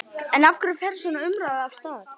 En af hverju fer svona umræða af stað?